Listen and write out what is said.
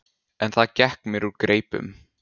En það gekk mér úr greipum.